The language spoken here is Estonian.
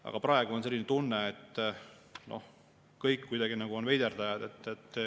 Aga praegu on selline tunne, et kõik on veiderdajad.